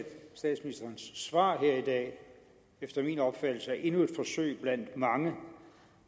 statsministerens svar her i dag efter min opfattelse er endnu et forsøg blandt mange